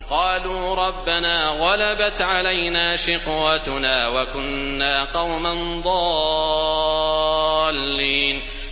قَالُوا رَبَّنَا غَلَبَتْ عَلَيْنَا شِقْوَتُنَا وَكُنَّا قَوْمًا ضَالِّينَ